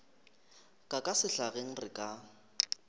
ka ka sehlageng re ka